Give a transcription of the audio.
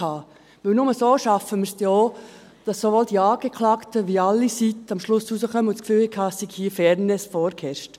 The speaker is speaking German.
Denn nur so schaffen wir es denn auch, dass sowohl die Angeklagten als auch alle Seiten am Schluss rauskommen und das Gefühl haben, es habe Fairness vorgeherrscht.